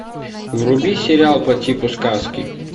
вруби сериал по типу сказки